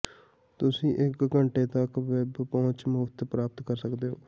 ਤੁਸੀਂ ਇੱਕ ਘੰਟੇ ਤੱਕ ਵੈਬ ਪਹੁੰਚ ਮੁਫ਼ਤ ਪ੍ਰਾਪਤ ਕਰ ਸਕਦੇ ਹੋ